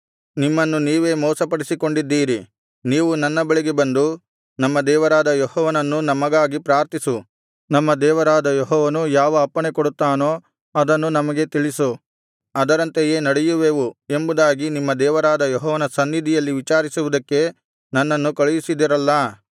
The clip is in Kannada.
ನಿಮ್ಮನ್ನು ನೀವೇ ಮೋಸಪಡಿಸಿಕೊಂಡಿದ್ದೀರಿ ನೀವು ನನ್ನ ಬಳಿಗೆ ಬಂದು ನಮ್ಮ ದೇವರಾದ ಯೆಹೋವನನ್ನು ನಮಗಾಗಿ ಪ್ರಾರ್ಥಿಸು ನಮ್ಮ ದೇವರಾದ ಯೆಹೋವನು ಯಾವ ಅಪ್ಪಣೆ ಕೊಡುತ್ತಾನೋ ಅದನ್ನು ನಮಗೆ ತಿಳಿಸು ಅದರಂತೆಯೇ ನಡೆಯುವೆವು ಎಂಬುದಾಗಿ ನಿಮ್ಮ ದೇವರಾದ ಯೆಹೋವನ ಸನ್ನಿಧಿಯಲ್ಲಿ ವಿಚಾರಿಸುವುದಕ್ಕೆ ನನ್ನನ್ನು ಕಳುಹಿಸಿದಿರಲ್ಲಾ